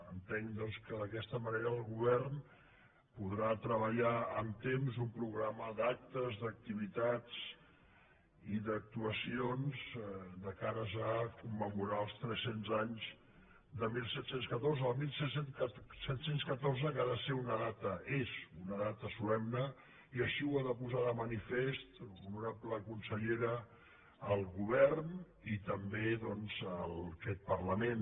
entenc doncs que d’aquesta manera el govern podrà treballar amb temps un programa d’actes d’activitats i d’actuacions de cares a commemorar els tres cents anys de disset deu quatre el disset deu quatre que ha de ser una data és una data solemne i així ho ha de posar de manifest honorable consellera el govern i també doncs aquest parlament